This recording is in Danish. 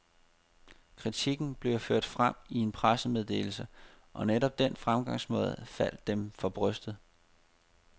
Kritikken blev ført frem i en pressemeddelse, og netop den fremgangsmåde faldt dem for brystet.